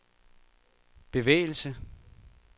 bevægelse